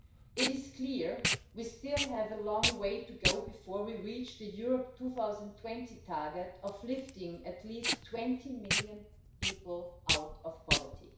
It is clear we still have a long way to go before we reach the Europe 2020 target of lifting at least 20 million people out of poverty.